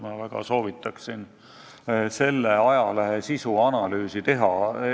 Ma väga soovitan selle ajalehe sisu analüüsi teha.